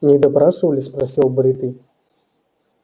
не допрашивали спросил бритый